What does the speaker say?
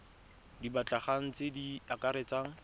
di batlegang tse di akaretsang